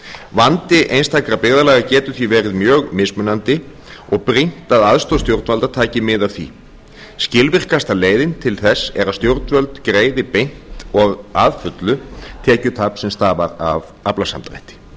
vandi einstakra byggðarlaga getur því verið mjög mismunandi og brýnt að aðstoð stjórnvalda taki mið af því skilvirkasta leiðin til þess er að stjórnvöld greiði beint og að fullu tekjutap sem stafar af aflasamdrætti